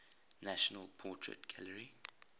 national portrait gallery